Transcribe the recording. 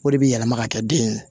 O de bɛ yɛlɛma ka kɛ den ye